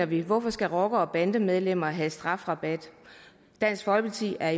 vi hvorfor skal rockere og bandemedlemmer have strafrabat dansk folkeparti er